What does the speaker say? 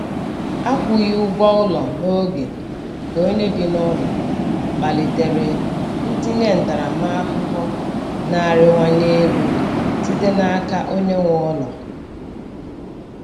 Akwughi ụgwọ ụlọ n'oge nke onye bi n'ụlọ kpalitere ntinye ntaramahụhụ na-arịwanye elu site n'aka onye nwe ụlọ.